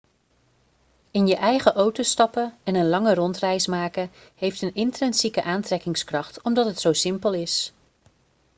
in je eigen auto stappen en een lange rondreis maken heeft een intrinsieke aantrekkingskracht omdat het zo simpel is